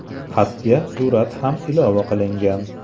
Xatga surat ham ilova qilingan.